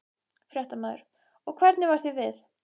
Fréttamaður: Og hvernig varð þér við?